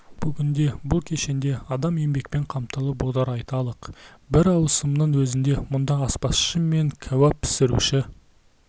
бүгінде бұл кешенде адам еңбекпен қамтылып отыр айталық бір ауысымның өзінде мұнда аспазшы мен кәуап пісіруші